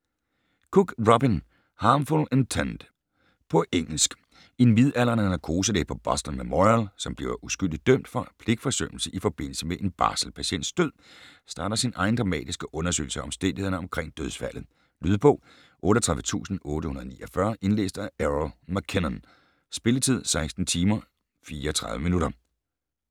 Cook, Robin: Harmful intent På engelsk. En midaldrende narkoselæge på Boston Memorial, som bliver uskyldigt dømt for pligtforsømmelse i forbindelse med en barselpatients død, starter sin egen dramatiske undersøgelse af omstændighederne omkring dødsfaldet. Lydbog 38849 Indlæst af Errol MacKinnon. Spilletid: 16 timer, 34 minutter.